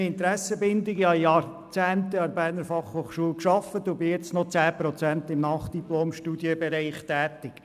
Ich habe während Jahrzehnten an der BFH gearbeitet und bin jetzt noch zu 10 Prozent im Nachdiplomstudienbereich tätig.